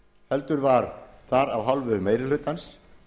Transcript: heldur var þar af hálfu meiri hlutans